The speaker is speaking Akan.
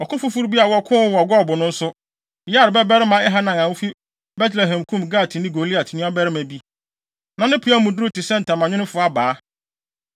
Ɔko foforo bi a wɔkoo wɔ Gob no nso, Yair babarima Elhanan a ofi Betlehem kum Gatni Goliat nuabarima bi. Na ne peaw mu duru te sɛ ntamanwemfo abaa.